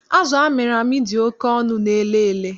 Azụ amịrị amị dị oké ọnụ n'Elele